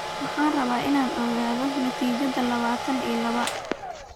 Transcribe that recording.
Waxaan rabaa inaan ogaado natiijada labaatan iyo laba